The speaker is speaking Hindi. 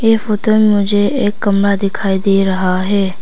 यह फोटो में मुझे एक कमरा दिखाई दे रहा है।